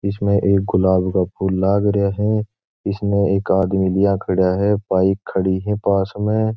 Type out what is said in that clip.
इसमें एक गुलाब का फूल लाग रिया है इसमें एक आदमी लिया खड़या है बाइक खड़ी है पास में।